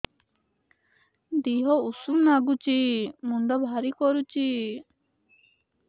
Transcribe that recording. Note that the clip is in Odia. ଦିହ ଉଷୁମ ନାଗୁଚି ମୁଣ୍ଡ ଭାରି କରୁଚି